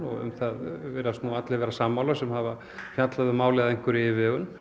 um það virðast allir vera sammála sem hafa fjallað um málið að einhverri yfirvegun